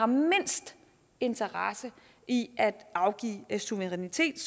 mindst interesse i at afgive suverænitet